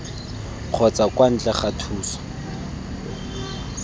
kgotsa kwa ntle ga thuso